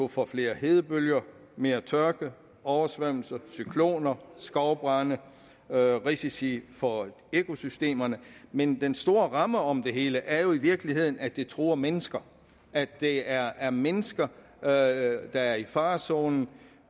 for flere hedebølger mere tørke oversvømmelser cykloner og skovbrande og risici for økosystemerne men den store ramme om det hele er jo i virkeligheden at det truer mennesker at det er er mennesker der er er i farezonen